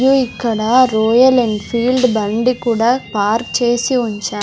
the ఇక్కడ Royal Enfield బండి కూడా పార్క్ చేసి ఉంచా--